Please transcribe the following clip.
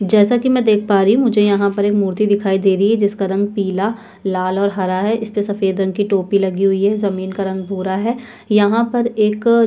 जैसा की मै देख पा रही हु मुझे यहाँ पर एक मूर्ति दिखाई दे रही जिसका रंग पीला लाल और हरा है इस्पे सफेद रंग की टोपी लगी हुई है जमीन का रंग भूरा है यहाँ पर एक--